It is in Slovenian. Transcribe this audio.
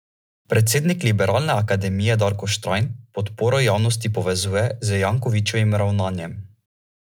Začutila je ljubosumje.